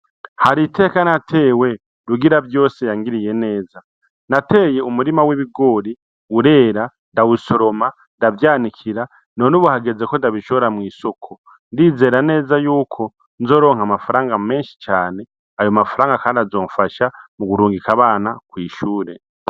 Hari iteka natewe, Rugiravyose yangiriye neza. Nateye umurima w'ibigori urera ndawusoroma ndavyanikira none ubu hageze ko ndabishora mw'isoko. Ndizera neza y'uko nzoronka amafaranga menshi cane. Ayo mafaranga kandi azonfasha mu kurungika abana kw'ishure.